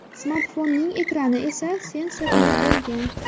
Smartfonning ekrani esa sensorli bo‘lgan.